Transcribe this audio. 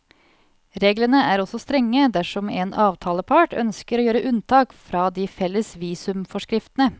Reglene er også strenge dersom en avtalepart ønsker å gjøre unntak fra de felles visumforskriftene.